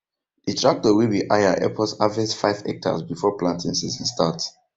the tractor wey we hire help us harverst five hectares before planting season start